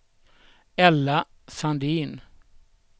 Ella Sandin